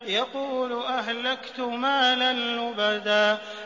يَقُولُ أَهْلَكْتُ مَالًا لُّبَدًا